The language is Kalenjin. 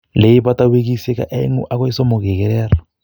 Leibata wikisiek oeng'u akoi somok ikerer.